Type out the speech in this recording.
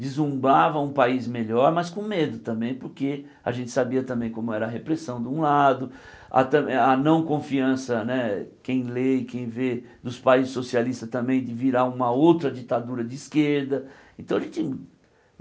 deslumbrava um país melhor, mas com medo também, porque a gente sabia também como era a repressão de um lado, a tam a não confiança né, quem lê e quem vê, dos países socialistas também, de virar uma outra ditadura de esquerda. Então a gente